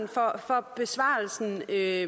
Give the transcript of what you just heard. der er